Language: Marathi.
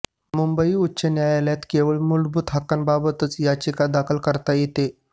मुंबई उच्च न्यायालयात केवळ मूलभूत हक्कांबाबतच याचिका दाखल करता येते